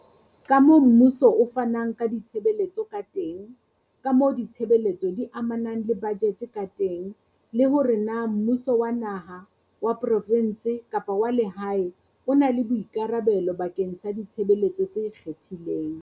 kamoo mmuso o fanang ka ditshebeletso ka teng, kamoo ditshebeletso di amanang le bajete ka teng le hore na mmu so wa naha, wa provense kapa wa lehae o na le boikarabelo bakeng sa ditshebeletso tse ikgethileng.